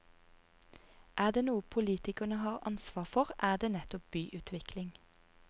Er det noe politikerne har ansvar for, er det nettopp byutvikling.